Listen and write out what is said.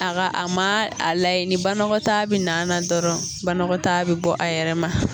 Aga a ma a layɛ ni banagɔtaa bi na na dɔrɔn banagɔtaa bi bɔ a yɛrɛ ma